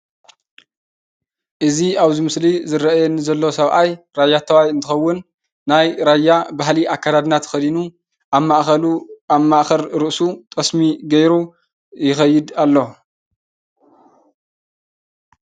እዚ አብ እዚ ምስሊ ዝረአየኒ ዘሎ ሰብአይ ራየታይ እንትከውን ናይ ራያ ባህሊ አከዳድና አብ ማእከል ርእሱ ጠስሚ ገይሩ ይከይድ አሎ ፡፡